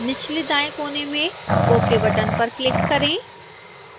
निचले दाएं कोने में ok बटन पर क्लिक करें